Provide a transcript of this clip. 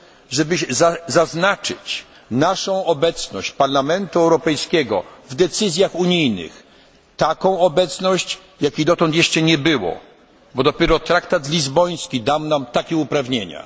żeby zaznaczyć naszą obecność, Parlamentu Europejskiego w decyzjach unijnych, taką obecność, jakiej jeszcze dotąd nie było, bo dopiero Traktat Lizboński dał nam takie uprawnienia.